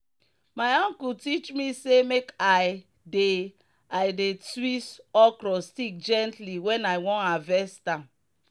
my uncle teach me say make i dey i dey twist okro stick gently when i wan harvest am.